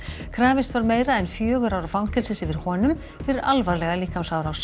krafist var meira en fjögurra ára fangelsis yfir honum fyrir alvarlega líkamsárás